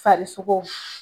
Fari sogo